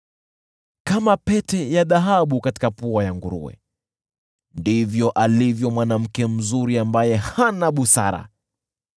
Kama pete ya dhahabu katika pua ya nguruwe ndivyo alivyo mwanamke mzuri ambaye hana busara.